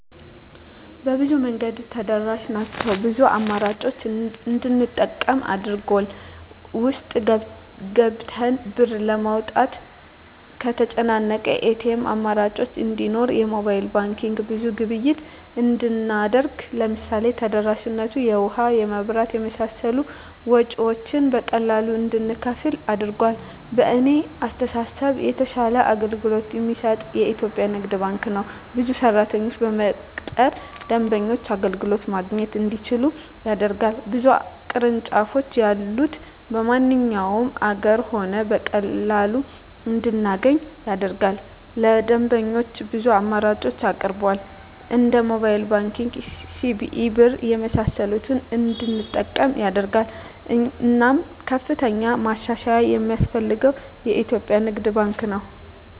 በብዙ መንገድ ተደራሽ ናቸው ብዙ አማራጮችን እንድንጠቀም አድርጎል። ውስጥ ገብተን ብር ለማውጣት ከተጨናነቀ የኤቲኤም አማራጮች እንዲኖር የሞባይል ባንኪንግ ብዙ ግብይት እንድናደርግ ለምሳሌ ተደራሽነቱ የውሀ, የመብራት የመሳሰሉ ወጭወችን በቀላሉ እንድንከፍል አድርጓል። በእኔ አስተሳሰብ የተሻለ አገልግሎት የሚሰጥ የኢትዪጵያ ንግድ ባንክ ነው። ብዙ ሰራተኞችን በመቅጠር ደንበኞች አገልግሎት ማግኘት እንዲችሉ ያደርጋል። ብዙ ቅርንጫፎች ያሉት በማንኛውም አገር ሆነን በቀላሉ እንድናገኝ ያደርጋል። ለደንበኞች ብዙ አማራጮችን ያቀርባል እንደ ሞባይል ባንኪንግ, ሲቢኢ ብር , የመሳሰሉትን እንድንጠቀም ያደርጋል። እናም ከፍተኛ ማሻሻያ የማስፈልገው የኢትዮጵያ ንግድ ባንክ ነው።